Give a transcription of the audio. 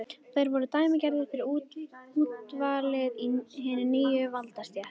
Þeir voru dæmigerðir fyrir úrvalið í hinni nýju valdastétt